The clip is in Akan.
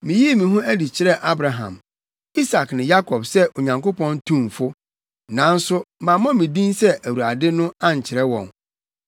Miyii me ho adi kyerɛɛ Abraham, Isak ne Yakob sɛ Onyankopɔn tumfo. Nanso mammɔ me din sɛ Awurade no ankyerɛ wɔn.